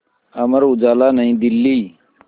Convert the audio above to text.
अमर उजाला नई दिल्ली